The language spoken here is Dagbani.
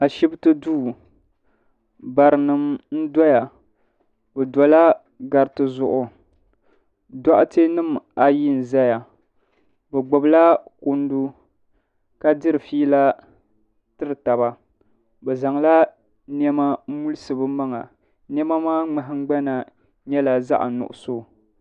Ashibiti duu. Barinima n doya. Bɛ dola gariti zuɣu. Doɣ'tenima ayi n ʒɛya. Bɛ gbubila kundu ka diri fiila tiritaba. Bɛ zaŋla niema n mulisi bɛ maŋa. Niema maa nahingbana nyela zaɣi nuɣiso.